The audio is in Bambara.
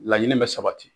Laɲini bɛ sabati